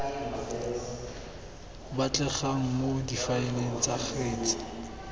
batlegang mo difaeleng tsa kgetse